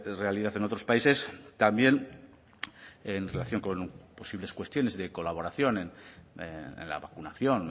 realidad en otros países también en relación con posibles cuestiones de colaboración en la vacunación